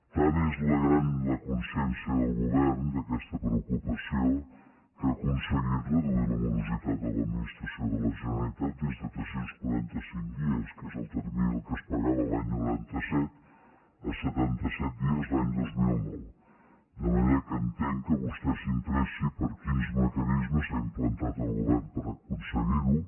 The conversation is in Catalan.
tan gran és la consciència del govern d’aquesta preocupació que ha aconseguit reduir la morositat a l’administració de la generalitat des de tres cents i quaranta cinc dies que és el termini en què es pagava l’any noranta set a setanta set dies l’any dos mil nou de manera que entenc que vostè s’interessi per quins mecanismes ha implantat el govern per aconseguirho